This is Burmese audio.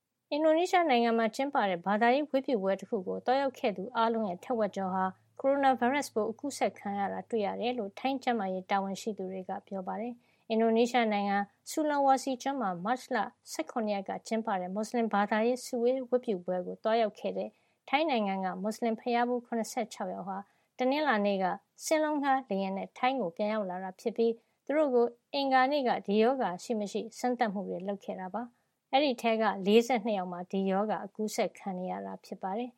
အင်ဒိုနီးရှား နိုင်ငံမှာ ကျင်းပတဲ့ ဘာသာရေး ဝတ်ပြုပွဲတခုကို သွားရောက်ခဲ့သူ အားလုံးရဲ့ ထက်ဝက်ကျော်ဟာ ကိုရိုနာဗိုင်းရပ်စ်ပိုး အကူးစက်ခံရတာ တွေ့ရတယ်လို့ ထိုင်းကျန်းမာရေး တာဝန်ရှိသူတွေက ပြောပါတယ်။ အင်ဒိုနီးရှားနိုင်ငံ Sulawesi ကျွန်းမှာ မတ်လ ၁၇ ရက်က ကျင်းပတဲ့ မူစလင်ဘာသာရေး စုဝေးဝတ်ပြု ပွဲကို သွားရောက်ခဲ့တဲ့ ထိုင်းနိုင်ငံက မူစလင်ဘုရားဖူး ၇၆ ယောက်ဟာ တနင်္လာနေ့က စင်းလုံးငှါး လေယာဉ်နဲ့ ထိုင်းနိုင်ငံကို ပြန်ရောက်လာတာ ဖြစ်ပြီး သူတို့ ကို အင်္ဂါနေ့က ဒီရောဂါ ရှိမရှိ စမ်းသပ်မှုတွေ လုပ်ခဲ့တာပါ။ သွားရောက်သူ အားလုံးဟာ အမျိုးသားတွေ ချည်းပဲ ဖြစ်ပြီး အဲဒီထဲက ၄၂ ယောက်မှာ ဒီရောဂါ အကူးစက်ခံနေရတာ ဖြစ်ပါတယ်